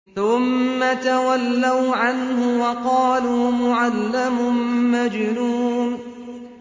ثُمَّ تَوَلَّوْا عَنْهُ وَقَالُوا مُعَلَّمٌ مَّجْنُونٌ